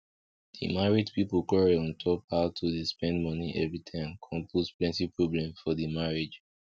di married people quarrel ontop how to dey spend money everytime con put plenty problem for di marriage